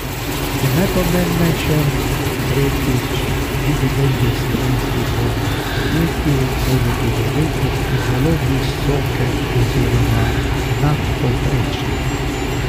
In najpomembnejše, tretjič, dividende slovenskih borznih podjetij bodo tudi letos zelo visoke oziroma nadpovprečne.